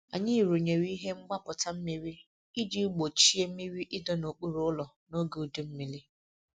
Anyị rụnyere ihe mgbapụta mmiri iji gbochie mmiri ịdọ n'okpuru ụlọ n'oge udu mmiri.